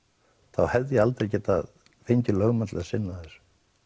þá hefði ég aldrei getað fengið lögmann til að sinna þessu